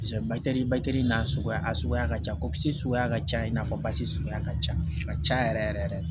n'a suguya a suguya ka ca kɔ kisi suguya ka ca i n'a fɔ basi suguya ka ca a ka ca yɛrɛ yɛrɛ